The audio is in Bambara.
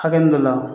Hakɛ min dɔ la